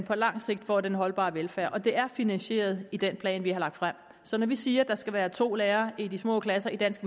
på lang sigt får den holdbare velfærd og de er finansierede i den plan vi har lagt frem så når vi siger at der skal være to lærere i de små klasser i dansk